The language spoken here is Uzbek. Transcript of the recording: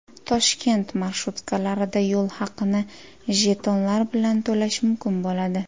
Toshkent marshrutkalarida yo‘l haqini jetonlar bilan to‘lash mumkin bo‘ladi.